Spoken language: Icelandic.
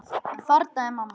Þarna er amma!